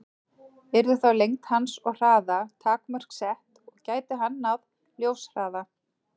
Yrðu þá lengd hans og hraða takmörk sett, og gæti hann náð ljóshraða?